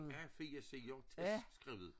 A4-sider tæt skrevet